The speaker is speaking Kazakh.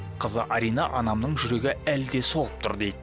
қызы арина анамның жүрегі әлі де соғып тұр дейді